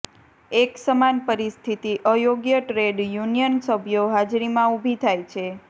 એક સમાન પરિસ્થિતિ અયોગ્ય ટ્રેડ યુનિયન સભ્યો હાજરીમાં ઊભી થાય છે